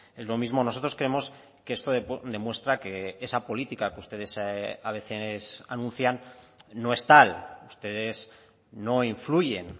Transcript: es lo mismo nosotros creemos que esto demuestra que esa política que ustedes a veces anuncian no es tal ustedes no influyen